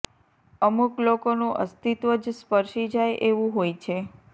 અમુક લોકોનું અસ્તિત્વ જ સ્પર્શી જાય એવું હોય છે